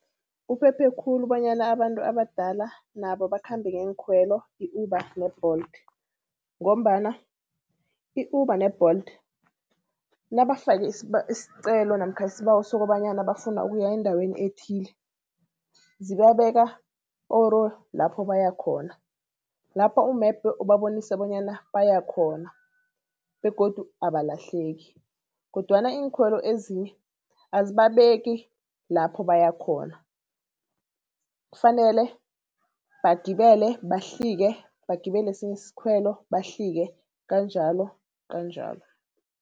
Uphephe khulu bonyana abantu abadala nabo bakhambe ngeenkhwelo i-Uber ne-Bolt ngombana i-Uber ne-Bolt nabafake iscelo namkha isbawo sokobanyana bafuna ukuya endaweni ethile, zibabeka poro lapho baya khona. Lapho umebhe ubabonise bonyana bayakhona begodu abalahleki, kodwana iinkhwelo ezinye azibabeki lapho bayakhona. Kufanele bagibele, bahlike, bagibele esinye iskhwelo, bahlike kanjalo kanjalo.